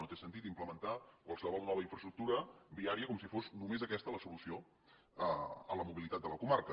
no té sentit implementar qualsevol nova infraestructura viària com si fos només aquesta la solució a la mobilitat de la comarca